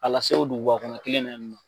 A lase o duguba kɔnɔ kelen na yen nɔ.